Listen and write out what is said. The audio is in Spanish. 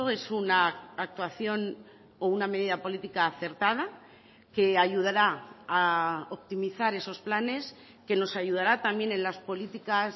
es una actuación o una medida política acertada que ayudará a optimizar esos planes que nos ayudará también en las políticas